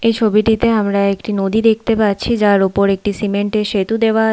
এই ছবিটিতে আমরা একটি নদী দেখতে পাচ্ছি যার উপর একটি সিমেন্ট এর সেতু দেওয়া।